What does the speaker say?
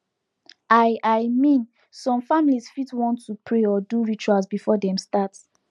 i i min som familiz fit wan to pray or do rituals before dem start